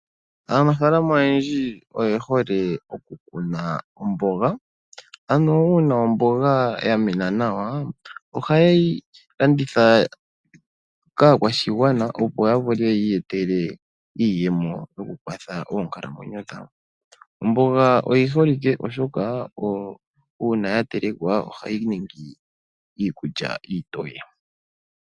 Aanafalama oyendji oye hole okukuna omboga, ano uuna omboga ya mena nawa ohaye yi landitha kaakwashigwana. Opo ya vule yi iyetele iiyemo yokukwatha oonkalamweyo dhawo. Omboga oyi holike oshoka uuna ya telekwa ohayi ningi iikulya iitoye.